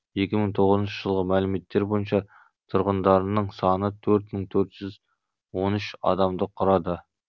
екі мың тоғызыншы жылғы мәліметтер бойынша тұрғындарының саны төрт мың төрт жүз он үш адамды құрады